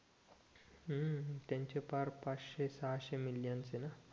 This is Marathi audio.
हम्म त्याचे फार पाचशे सहाशे मिलियस हे ना